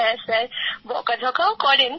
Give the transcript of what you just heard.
হ্যাঁ স্যার বকাঝকাও করেন